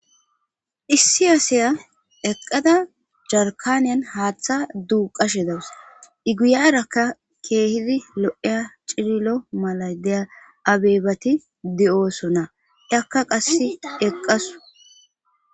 issi aasaya eqqada jarkaniyan haaththa duu qashe dawus iguyarakka keehidi lo7eya cirilo mala dea abeebati de7oosona akka qass eqqasu